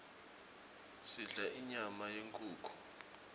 sidla inyama yenkhukhu